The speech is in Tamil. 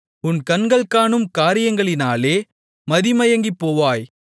உன் கண்கள் காணும் காரியங்களினாலே மதிமயங்கிப்போவாய்